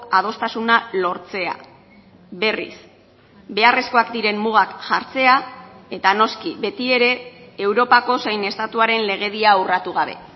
adostasuna lortzea berriz beharrezkoak diren mugak jartzea eta noski betiere europako zein estatuaren legedia urratu gabe